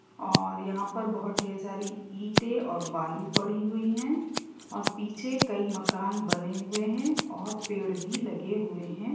और यहां पर बहुत डेर सारी ईटे और बालू पड़ी हुई है और पीछे कई मकान बने हुए हैं और पेड़ भी लगे हुए हैं।